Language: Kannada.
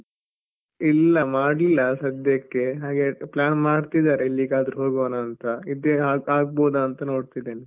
ಇಲ್ಲ ಮಾಡ್ಲಿಲ್ಲ ಸದ್ಯಕ್ಕೆ ಹಾಗೆ plan ಮಾಡ್ತಿದ್ದಾರೆ ಎಲ್ಲಿಗಾದ್ರು ಹೋಗುವನಾಂತ ಇದೆ ಆಗ್ಬೋದಾಂತ ನೋಡ್ತಿದ್ದೇನೆ.